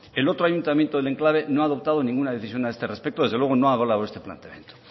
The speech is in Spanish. el otro ayuntamiento del enclave no ha adoptado ninguna decisión a este respecto desde luego no ha hablado este planteamiento